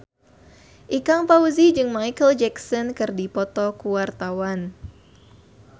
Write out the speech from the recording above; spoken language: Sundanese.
Ikang Fawzi jeung Micheal Jackson keur dipoto ku wartawan